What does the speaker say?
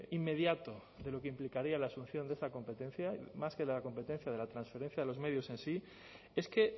inmediato de lo que implicaría la asunción de esa competencia más que de la competencia de la transferencia de los medios en sí es que